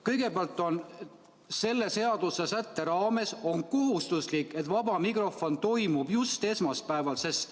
Kõigepealt, selle seadusesätte kohaselt on kohustuslik, et vaba mikrofon toimub just esmaspäeval.